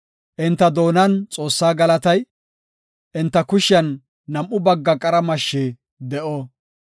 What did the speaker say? Enta doonan Xoossaa galatay, enta kushiyan nam7u bagga qara mashshi de7o.